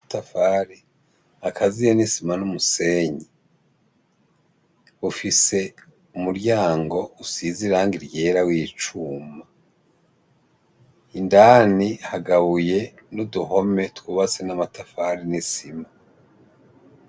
Amatafari akaziyemwo isima n'umusenyi. Ufise umuryango usize irangi ryera w'icuma. Indani hagabuye n'uduhome twubatse n'amatafari n'isima.